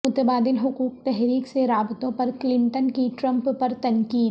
متبادل حقوق تحریک سے رابطوں پر کلنٹن کی ٹرمپ پر تنقید